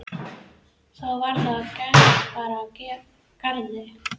Þá var það að gest bar að garði.